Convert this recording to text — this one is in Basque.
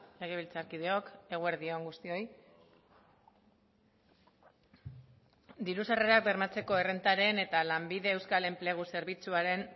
legebiltzarkideok eguerdi on guztioi diru sarrerak bermatzeko errentaren eta lanbide euskal enplegu zerbitzuaren